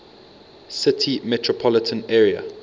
city metropolitan area